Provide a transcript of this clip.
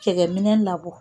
Cɛgɛ minɛ labɔ